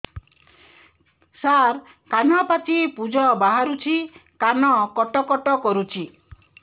ସାର କାନ ପାଚି ପୂଜ ବାହାରୁଛି କାନ କଟ କଟ କରୁଛି